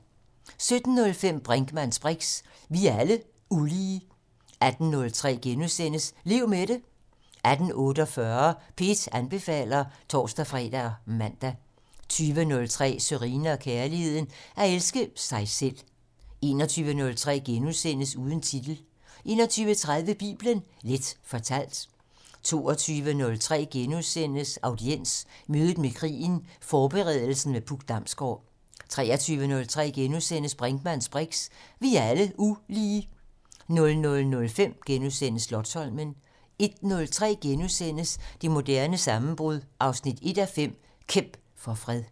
17:05: Brinkmanns briks: Vi er alle ulige 18:03: Lev med det * 18:48: P1 anbefaler (tor-fre og man) 20:03: Sørine & Kærligheden: At elske sig selv 21:03: Uden titel * 21:30: Bibelen Leth fortalt 22:03: Audiens: Mødet med krigen - Forberedelsen med Puk Damsgård * 23:03: Brinkmanns briks: Vi er alle ulige * 00:05: Slotsholmen * 01:03: Det moderne sammenbrud 1:5 - Kæmp for fred *